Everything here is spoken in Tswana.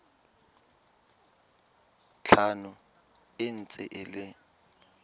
tlhano e ntse e le